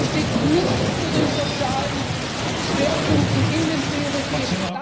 Es steht nichts zu den sozialen Schwerpunkten in den Prioritäten.